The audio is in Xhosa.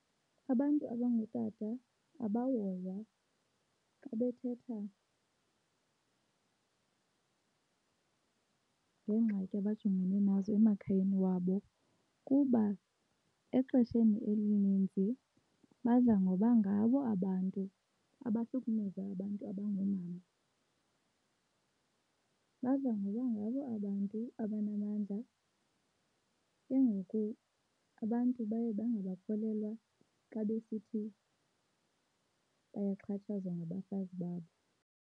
Abantu abangootata abahoywa xa bethetha ngeengxaki abajongene nazo emakhayeni wabo kuba exesheni elininzi badla ngoba ngabo abantu abahlukumeza abantu abangoomama. Badla ngoba ngabo abantu abanamandla ke ngoku abantu baye bangabakholelwa xa besithi bayaxhatshazwa ngabafazi babo.